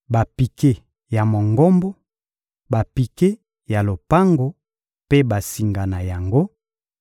bapike ya Mongombo, bapike ya lopango mpe basinga na yango,